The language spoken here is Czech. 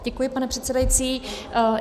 Děkuji, pane předsedající.